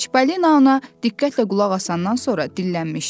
Çipolino ona diqqətlə qulaq asandan sonra dillənmişdi.